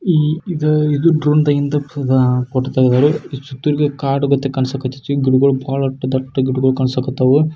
ಇ-ಇದ ಇದು ಡ್ರೋನ್ನಿಂದ ಫೋಟೋ ತೆಗೆದಾರು ಕಾಡ ಕಾಣಸಕ್ಕ ಅಯ್ತಿ ಗಿಡಗಳ ದೊಡ್ಡ ಗಿಡಗಳ ಕಣಸಕ್ಕ ಹತ್ತೈತಿ.